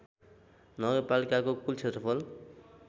नगरपालिकाको कूल क्षेत्रफल